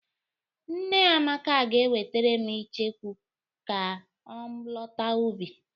Nne Amaka ga-ewetere m icheku ma ọ lọta ubi.